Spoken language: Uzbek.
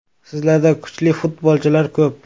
Sizlarda kuchli futbolchilar ko‘p.